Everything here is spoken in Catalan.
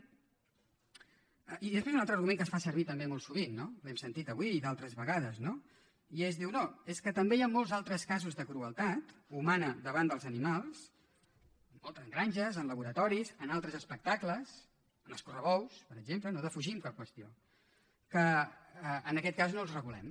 i després un altre argument que es fa servir també molt sovint no l’hem sentit avui i d’altres vegades i és dir no és que també hi han molts altres casos de crueltat humana davant dels animals moltes granges en laboratoris en altres espectacles en els correbous per exemple que no defugim cap qüestió que en aquest cas no els regulem